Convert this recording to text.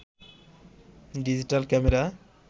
digital camera